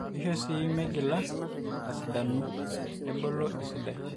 eisho sii meigila aasidanu nebolo esidai